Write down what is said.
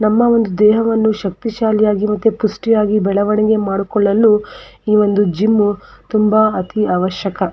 ನಮ್ಮ ಒಂದು ದೇಹವನ್ನು ಶಕ್ತಿ ಶಾಲಿಯಾಗಿ ಮತ್ತೆ ಪುಷ್ಟಿಯಾಗಿ ಬೆಳವಣಿಗೆ ಮಾಡಿಕೊಳ್ಳಲು ಈ ಒಂದು ಜಿಮ್ಮು ತುಂಬಾ ಅವಶ್ಯಕ.